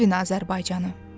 Sevin Azərbaycanı.